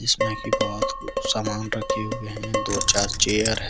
इसमें की बहुत कुछ सामान रखे हुए हैं दो चार चेयर है।